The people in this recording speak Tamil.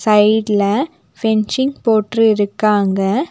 சைட்ல ஃபென்சிங் போட்டிருக்காங்க.